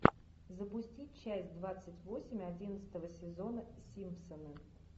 запусти часть двадцать восемь одиннадцатого сезона симпсоны